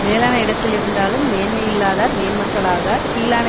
மேலான இடத்திருந்தாலும் மேன்மையில்லாதார் மேன்மக்களாகார் கீழான